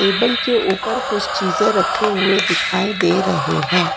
Table के ऊपर कुछ चीजे रखे हुए दिखाई दे रहे हैं।